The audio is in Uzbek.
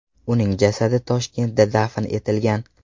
Uning jasadi Toshkentda dafn etilgan.